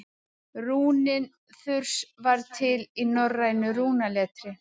rúnin þurs var til í norrænu rúnaletri